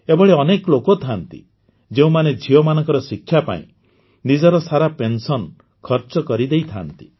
ଏଭଳି ଅନେକ ଲୋକ ଥାଆନ୍ତି ଯେଉଁମାନେ ଝିଅମାନଙ୍କ ଶିକ୍ଷା ପାଇଁ ନିଜର ସାରା ପେନ୍ସନ୍ ଖର୍ଚ୍ଚ କରିଦେଇଥାଆନ୍ତି